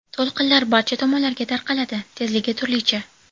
To‘lqinlar barcha tomonlarga tarqaladi, tezligi turlicha.